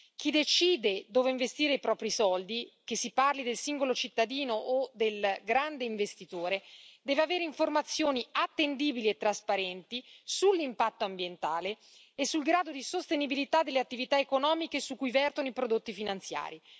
Chi decide dove investire i propri soldi, che si parli del singolo cittadino o del grande investitore, deve avere informazioni attendibili e trasparenti sull'impatto ambientale e sul grado di sostenibilità delle attività economiche su cui vertono i prodotti finanziari.